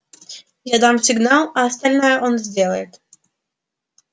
я дам сигнал а остальное он сделает